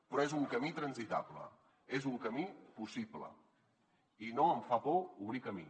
però és un camí transitable és un camí possible i no em fa por obrir camí